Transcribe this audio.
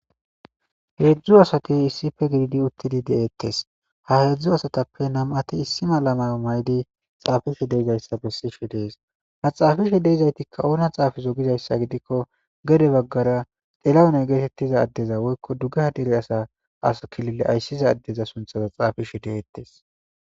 Hezhzhu assati issipe giididi uttidi de'ettes ha hezhzhu asatappe nam'ati issi medho mayo mayidi xaffishe deizayssa bessides ha xafishe deizayttika oona xaafizo giizayssa giidiko gede bagara xillahune gettetiza addeza woykko duggeha deere asa killile asysiza ade sunththa xafishe de'ettes.